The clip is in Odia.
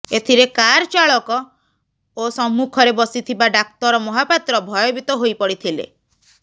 ଏଥିରେ କାର ଚାଳକ ଓ ସମ୍ମୁଖରେ ବସିଥିବା ଡାକ୍ତର ମହାପାତ୍ର ଭୟଭୀତ ହୋଇପଡିଥିଲେ